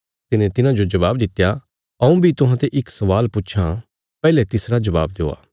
तिने तिन्हांजो जबाब दित्या हऊँ बी तुहांते इक स्वाल पुछां पैहले तिसरा जबाब देआ